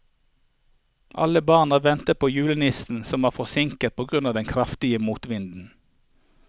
Alle barna ventet på julenissen, som var forsinket på grunn av den kraftige motvinden.